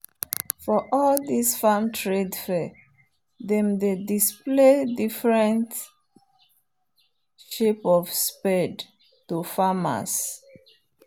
for all this farm trade fair them dey display different shape of spade to farmers.